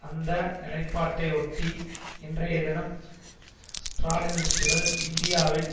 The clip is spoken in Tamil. அந்த நிலைப்பாட்டை ஒட்டி இன்றைய தினம் ஸ்ராலினிஸ்ட்டுகள் இந்தியாவின்